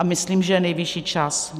A myslím, že je nejvyšší čas.